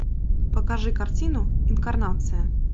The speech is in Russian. покажи картину инкарнация